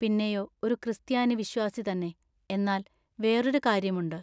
പിന്നെയൊ ഒരു ക്രിസ്താനി വിശ്വാസിതന്നെ. എന്നാൽ വേറൊരു കാര്യമുണ്ട്.